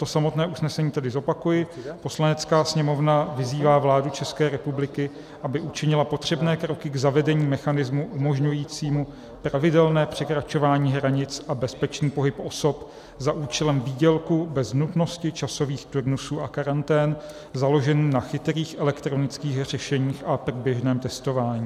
To samotné usnesení tedy zopakuji: Poslanecká sněmovna vyzývá vládu České republiky, aby učinila potřebné kroky k zavedení mechanismu umožňujícímu pravidelné překračování hranic a bezpečný pohyb osob za účelem výdělku, bez nutnosti časových turnusů a karantén, založený na chytrých elektronických řešeních a průběžném testování.